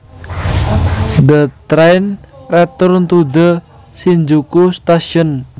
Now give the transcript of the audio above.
The train returned to the Shinjuku station